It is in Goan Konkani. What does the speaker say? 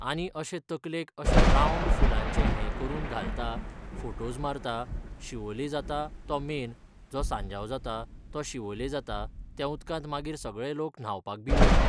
आनी अशें तकलेक अशें रावंड फुलांचें हें करून घालता फोटोज मारता शिवोले जाता तो मेन जो सांजाव जाता तो शिवोले जाता त्या उदकांत मागीर सगळे लोक न्हावपाक बी वयतात.